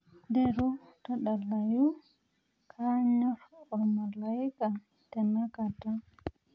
nteru tadalayu kaanyor ormalaika tenakata